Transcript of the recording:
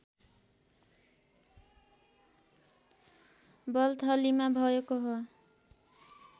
बल्थलीमा भएको हो